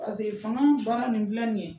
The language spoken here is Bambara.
fanga baara nin fila ni ye